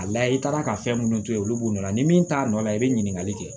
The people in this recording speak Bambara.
A layɛ i taara ka fɛn minnu to yen olu b'u nɔ la ni min t'a nɔ la i bɛ ɲininkali kɛ